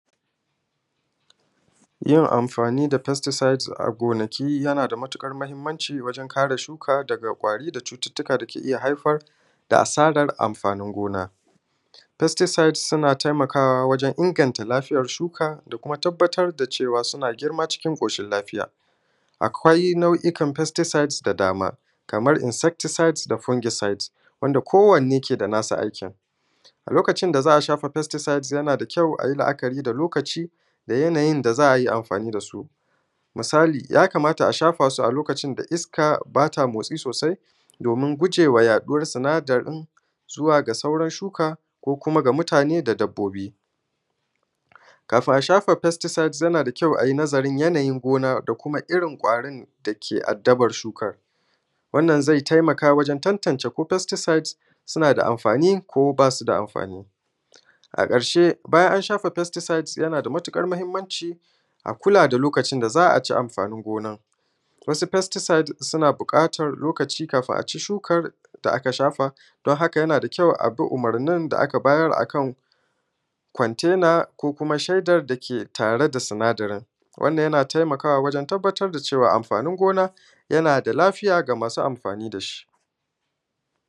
Yin amfani da festisaits a gonaki yana da matuƙar mahimmanci wajen kare shuka daga ƙwari da cututtuka da ke iya haifar da asarar amfani gona. Festisaits suna tayammu wajen inganta lafiyar shukan da kuma tabbatar da cewa suna girma cikin ƙoshin lafiyan Akwa’i na’u’ikan festisaits da dama, kaman: Infestisaits Fungisaits Wanda ko wanne ke da nata ajiyan. A lokacin da za a shafa festisaits, a yi la’akari da lokacin da yanayin da za a yi amfani da su. Misali, yakamata a shafa su a lokacin da iska ba ta motsi sosai, domin gujewa haɗuwan sinadarin zuwa ga sauran shuka, mutane, da dabbobi. Kafin a shafa festusaits, yana da kyau a yi nazari game da yanayin gona da kuma irin ƙwarin da ke addaban shukar. Wannan zai tayammu wajen tantacewa ko festisaits suna da amfani ko ba su da amfani. A ƙarshe, bayan an shafa festisaita, yana da matuƙar mahimmanci a kula da lokacin da za a ci amfani gona. Wasu festisaits suna buƙatan lokaci kafin a ci shukar da aka shafa. Domin haƙa, yana da kyau a bi umurnin da aka bayar akan kwantena ko kuma shedar da ke tare da sinadarin. Wannan yana tayammu wajen tabbatar da cewa yana da lafiya ga masu amfani da shi.